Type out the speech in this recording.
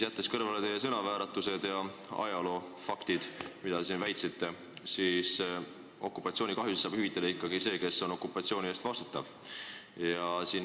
Jättes kõrvale teie sõnavääratused ja vale ajaloofakti, mida te väitsite, tahan öelda, et okupatsioonikahjusid peaks hüvitama ikkagi see, kes on okupatsiooni eest vastutav.